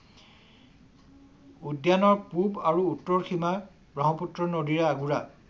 উদ্যানৰ পূব আৰু উত্তৰ সীমা ব্ৰহ্মপুত্ৰ নদীৰে আগুৰা।